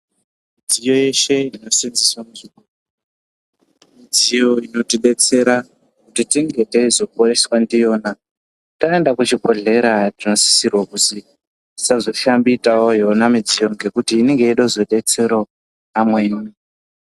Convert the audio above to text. Midziyo yeshe inoseenzeswe ......... midziyo inotidetsera kuti tinge teizoporeswa ndiyona taenda kuchibhedhlera tinosisirwa kuzi tisazoshambitawo yona midziyo ngekuti inenge yeida kuzodetserawo amweni